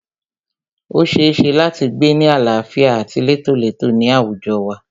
O ṣeéṣe láti gbé ni àlàáfíà àti létólètó ní àwùjọ wa.